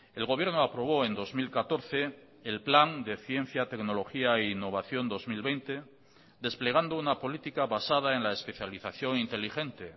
el gobierno aprobó en dos mil catorce el plan de ciencia tecnología e innovación dos mil veinte desplegando una política basada en la especialización inteligente